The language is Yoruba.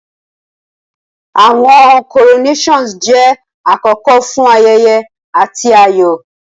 Awọn coronations jẹ akoko fun ayẹyẹ ati ayọ.